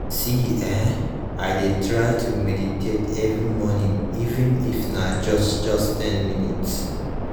see[um]i dey try to meditate every morning even if na just just ten minutes